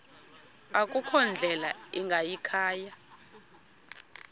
akukho ndlela ingayikhaya